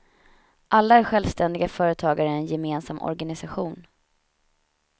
Alla är självständiga företagare i en gemensam organisation.